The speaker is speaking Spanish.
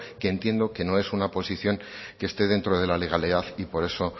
que entiendo que no es una posición que esté dentro de la legalidad y por eso